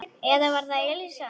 Eða var það Elísa?